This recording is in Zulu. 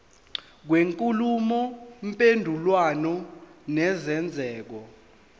kwenkulumo mpendulwano nesenzeko